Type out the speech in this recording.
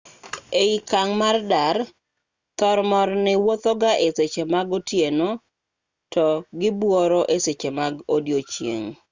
e okang' mar dar thomorni wuothoga e seche mag otieno to gibuoro e seche mag odiechieng'